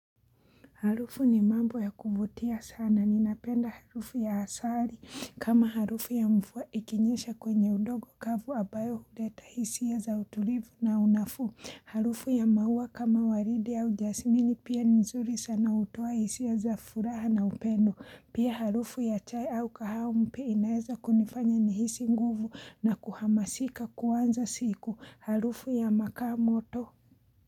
Harufu ni mambo ya kuvutia sana. Ninapenda harufu ya asali kama harufu ya mvua ikinyesha kwenye undogo kavu ambayo huleta hisia za utulivu na unafuu. Harufu ya maua kama waridi ya jasimini pia nzuri sana hutoa hisia za furaha na upendo. Pia harufu ya chai au kahawa inaeza kunifanya ni hisi nguvu na kuhamasika kuanza siku. Harufu ya makaa moto.